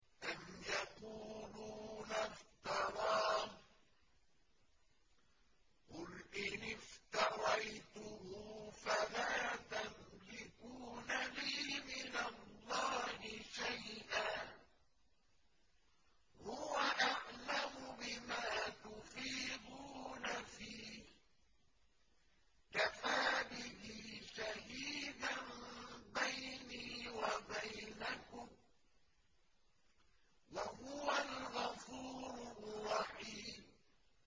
أَمْ يَقُولُونَ افْتَرَاهُ ۖ قُلْ إِنِ افْتَرَيْتُهُ فَلَا تَمْلِكُونَ لِي مِنَ اللَّهِ شَيْئًا ۖ هُوَ أَعْلَمُ بِمَا تُفِيضُونَ فِيهِ ۖ كَفَىٰ بِهِ شَهِيدًا بَيْنِي وَبَيْنَكُمْ ۖ وَهُوَ الْغَفُورُ الرَّحِيمُ